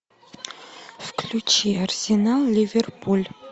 включи арсенал ливерпуль